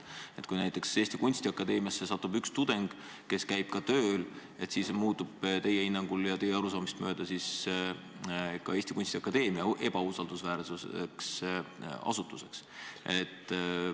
Aga kui näiteks Eesti Kunstiakadeemiasse satub õppima üks tudeng, kes käib tööl, siis kas teie hinnangul ja teie arusaamist mööda muutub ka Eesti Kunstiakadeemia ebausaldusväärseks asutuseks?